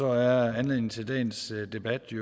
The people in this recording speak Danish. er anledningen til dagens debat i